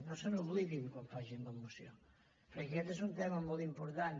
no se n’oblidin quan facin la moció perquè aquest és un tema molt important